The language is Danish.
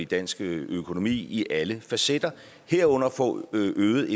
dansk økonomi i alle facetter herunder få et øget